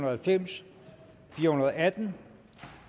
og halvfems fire hundrede og atten